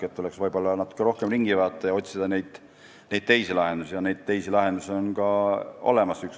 Võib-olla tuleks natuke rohkem ringi vaadata ja otsida ka teisi lahendusi, sest need on olemas.